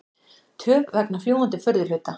Töf vegna fljúgandi furðuhluta